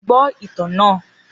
Gbọ itan naa!